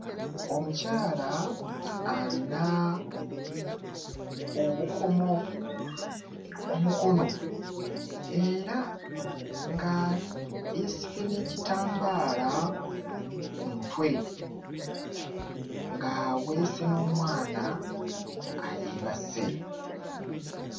Omukyala alina obukomo ku mukono era nga yeesibye n'ekitambaala ku mutwe ng'aweese n'omwana ayeebase.